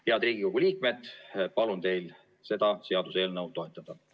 Head Riigikogu liikmed, palun teil seda seaduseelnõu toetada.